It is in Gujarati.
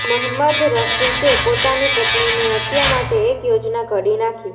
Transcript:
મહંમદ રફિકે પોતાની પત્નીની હત્યા માટે એક યોજના ઘડી નાખી